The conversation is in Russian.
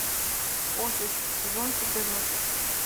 офис сезон четырнадцать